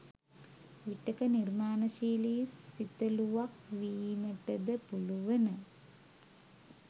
විටක නිර්මාණශීලි සිතළුවක් වීමටද පුළුවන.